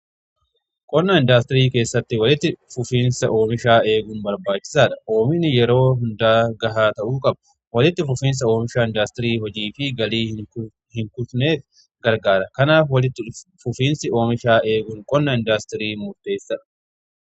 qonna indaastirii keessatti walitti fufiinsa oomishaa eeguun barbaachisaadha. oomishni yeroo hundaa gahaa ta'uu qabu walitti fufiinsa oomishaa indaastirii hojii fi galii hin kutneef gargaara. kanaaf walitti fufiinsi oomishaa eeguun qonna indaastiriif murteessadha.